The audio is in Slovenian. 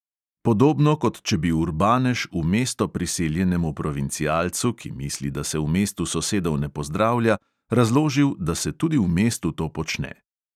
Podobno, kot če bi urbanež v mesto priseljenemu provincialcu, ki misli, da se v mestu sosedov ne pozdravlja, razložil, da se tudi v mestu to počne.